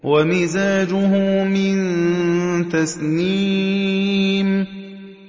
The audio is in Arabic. وَمِزَاجُهُ مِن تَسْنِيمٍ